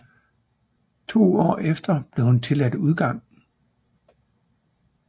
To år efter blev hun tilladt udgang